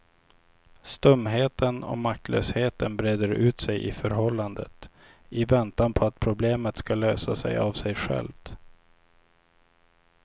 Stumheten och maktlösheten breder ut sig i förhållandet i väntan på att problemet ska lösa sig av sig självt.